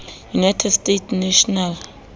united states national